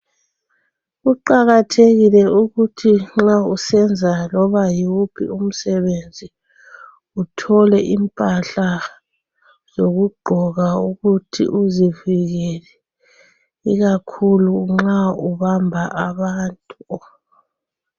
Kuqakathekile ukuthi nxa usenza loba yiwuphi umsebenzi uthole impahla zokuthi uzivikele, ikakhulu nxa ubamba abantu.